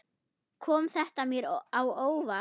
Kom þetta mér á óvart?